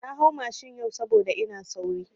Na hau mashin yau saboda ina sauri.